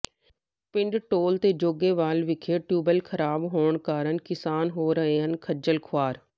ਪਿੰਡ ਧੌਲ ਤੇ ਜੋਗੇਵਾਲ ਵਿਖੇ ਟਿਊਬਵੈੱਲ ਖ਼ਰਾਬ ਹੋਣ ਕਾਰਨ ਕਿਸਾਨ ਹੋ ਰਹੇ ਹਨ ਖੱਜਲ ਖ਼ੁਆਰ